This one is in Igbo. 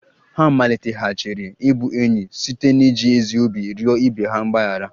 Ha maliteghachiri ịbụ enyi ha site n'iji ezi obi rịọ ibe ha mgbaghara